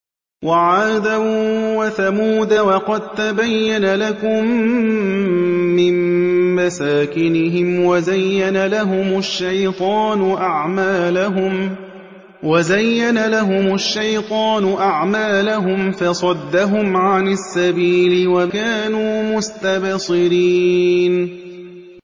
وَعَادًا وَثَمُودَ وَقَد تَّبَيَّنَ لَكُم مِّن مَّسَاكِنِهِمْ ۖ وَزَيَّنَ لَهُمُ الشَّيْطَانُ أَعْمَالَهُمْ فَصَدَّهُمْ عَنِ السَّبِيلِ وَكَانُوا مُسْتَبْصِرِينَ